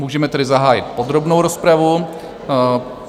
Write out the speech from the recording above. Můžeme tedy zahájit podrobnou rozpravu.